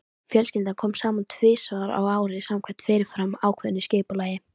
Fjölskyldan kom saman tvisvar á ári samkvæmt fyrirfram ákveðnu skipulagi.